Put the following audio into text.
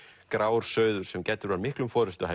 grár sauður sem gæddur var miklum